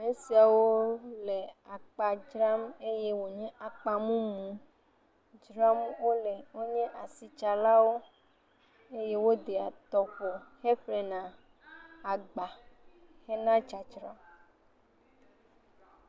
Esiawo le akpa dzram eye wònye akpamumu dzram wole. Wonye asitsalawo eye wodeɛ tɔƒo heƒlena agba hena dzadzra.